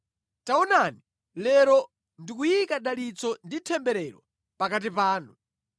Taonani, lero ndikuyika dalitso ndi temberero pakati panu,